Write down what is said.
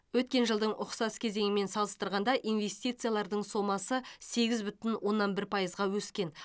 өткен жылдың ұқсас кезеңімен салыстырғанда инвестициялардың сомасы сегіз бүтін оннан бір пайызға өскен